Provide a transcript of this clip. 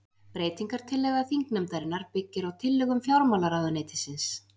Breytingartillaga þingnefndarinnar byggir á tillögum fjármálaráðuneytisins